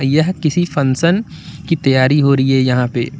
यह किसी फंक्शन की तैयारी हो रही है यहां पे।